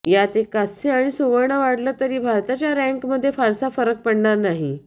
यात एक कांस्य आणि सुवर्ण वाढलं तरी भारताच्या रँकमध्ये फारसा फरक पडणार नाही